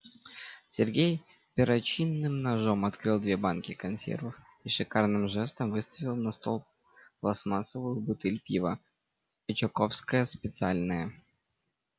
сергей перочинным ножом открыл две банки консервов и шикарным жестом выставил на стол пластмассовую бутыль пива очаковское специальное